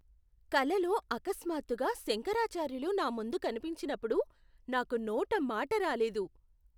కలలో అకస్మాత్తుగా శంకరాచార్యులు నా ముందు కనిపించినప్పుడు నాకు నోట మాట రాలేదు.